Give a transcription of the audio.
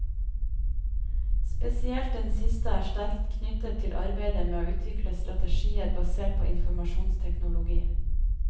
Spesielt den siste er sterkt knyttet til arbeidet med å utvikle strategier basert på informasjonsteknologi.